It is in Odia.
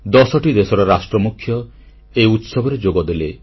10ଟି ଦେଶର ରାଷ୍ଟ୍ରମୁଖ୍ୟ ଏହି ଉତ୍ସବରେ ଯୋଗଦେଲେ